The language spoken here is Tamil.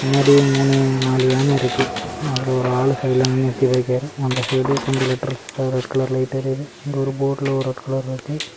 முன்னாடி மூணு நாலு யானை இருக்கு அதுல ஒரு ஆளு சைடுல நிறுத்தி போய் இருக்காரு அந்த சைடு கொஞ்சம் லெட்டர்ஸ்ல ரெட் கலர்ல லைட் எரியுது இங்க போர்டுல ஒரு ரெட் கலர் இருக்கு.